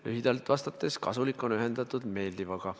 Lühidalt vastates: kasulik on ühendatud meeldivaga.